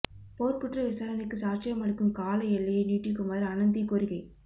போர்க்குற்ற விசாரணைக்கு சாட்சியம் அளிக்கும் கால எல்லையை நீடிக்குமாறு அனந்தி கோரிக்கை